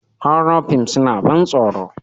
Horror fims suna ban tsoro.